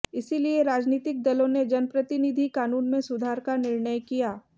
इसीलिए राजनीतिक दलों ने जनप्रतिनिधि कानून में सुधार का निर्णय किया